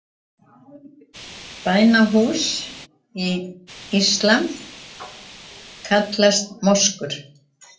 Bænahús í íslam kallast moskur.